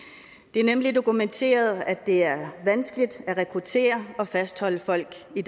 det er nemlig dokumenteret at det er vanskeligt at rekruttere og fastholde folk i